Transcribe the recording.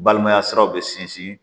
Balimaya siraw bɛ sinsin